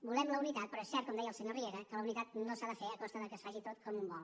volem la unitat però és cert com deia el senyor riera que la unitat no s’ha de fer a costa de que es faci tot com un vol